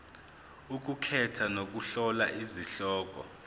ukukhetha nokuhlola izihloko